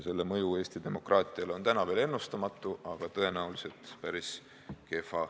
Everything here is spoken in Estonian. Selle mõju Eesti demokraatiale on täna veel ennustamatu, aga tõenäoliselt on see päris kehv.